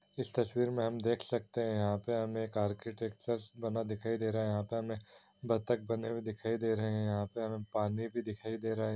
इस तस्वीर में हम देख सकते है यहाँ पे हमे एक सा बना दिखाई दे रहा है यहाँ पे हमे बत्तख बने हुए दिखाई दे रहे है यहाँ पे हमे पानी भी दिखाई दे रहे है।